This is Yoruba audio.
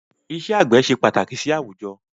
Ìṣe àgbẹ̀ ṣe pàtàkì sì àwùjọ